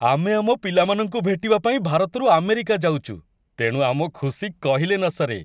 ଆମେ ଆମ ପିଲାମାନଙ୍କୁ ଭେଟିବା ପାଇଁ ଭାରତରୁ ଆମେରିକା ଯାଉଚୁ, ତେଣୁ ଆମ ଖୁସି କହିଲେ ନସରେ ।